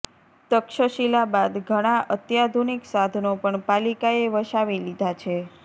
તક્ષશિલા બાદ ઘણા અત્યાધુનિક સાધનો પણ પાલિકાએ વસાવી લીધા છે